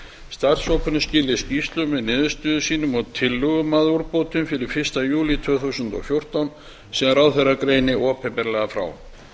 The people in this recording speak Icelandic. starfshópurinn skili skýrslu með niðurstöðum sínum og tillögum að úrbótum fyrir fyrsta júlí tvö þúsund og fjórtán sem ráðherra greini opinberlega frá